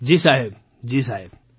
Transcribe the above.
મંજૂરજી જી સાહેબ જી સાહેબ